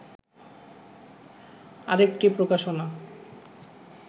আরেকটি প্রকাশনা